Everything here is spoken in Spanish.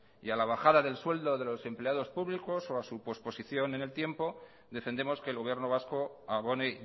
y a la bajada del sueldo de los empleados públicos o su posposición en el tiempo defendemos que el gobierno vasco abone